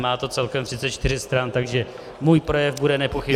Má to celkem 34 stran, takže můj projev bude nepochybně -